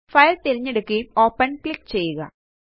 file തിരഞ്ഞെടുക്കുകയും open click ചെയ്യുക